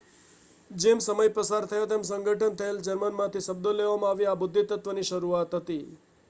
જેમ સમય પસાર થયો તેમ સંગઠન થયેલા જર્મનમાંથી શબ્દો લેવામાં આવ્યા આ બુદ્ધિત્વની શરૂઆત હતી